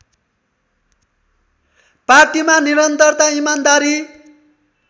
पार्टीमा निरन्तरता इमान्दारी